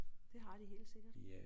Det har de helt sikkert